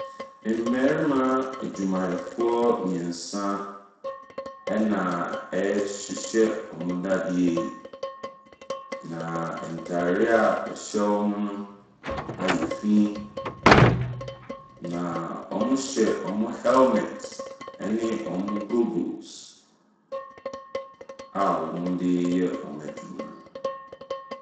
Mmarima adwumayɛfoɔ mmeɛnsa ɛnna wɔrehyehyɛ wɔn nnadeɛ yie, na ntareɛ a ɛhyɛ wɔn no ayɛ fi, na wɔhyɛ wɔn helmet ne wɔn goggles a wɔde reyɛ wɔn adwuma no.